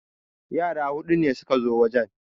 Yara hudu ne suka zo wajen